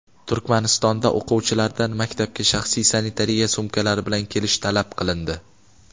Turkmanistonda o‘quvchilardan maktabga shaxsiy sanitariya sumkalari bilan kelish talab qilindi.